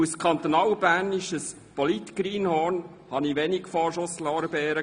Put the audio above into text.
Als kantonalbernisches Polit-Greenhorn erhielt ich wenige Vorschusslorbeeren.